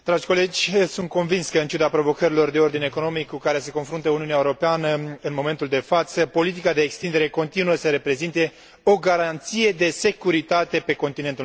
Sunt convins că, în ciuda provocărilor de ordin economic cu care se confruntă Uniunea Europeană în momentul de față, politica de extindere continuă să reprezinte o garanție de securitate pe continentul nostru.